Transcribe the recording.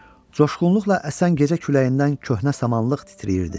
Coşğunluqla əsən gecə küləyindən köhnə samanlıq titrəyirdi.